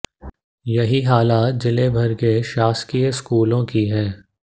यही हालत जिले भर के शासकीय स्कूलों की है